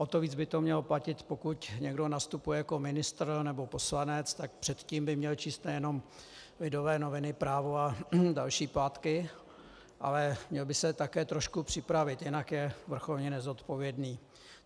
O to víc by to mělo platit, pokud někdo nastupuje jako ministr nebo poslanec, tak předtím by měl číst nejenom Lidové noviny, Právo a další plátky, ale měl by se také trošku připravit, jinak je vrcholně nezodpovědný.